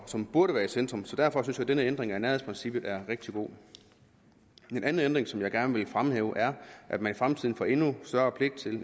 som burde være i centrum så derfor synes jeg at denne ændring af nærhedsprincippet er rigtig god en anden ændring som jeg gerne vil fremhæve er at man i fremtiden får endnu større pligt